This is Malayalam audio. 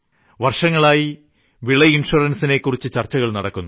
വർഷങ്ങളായി വിള ഇൻഷുറൻസിനെക്കുറിച്ച് ചർച്ചകൾ നടക്കുന്നു